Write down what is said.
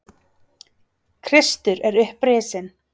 Kristur er upprisinn.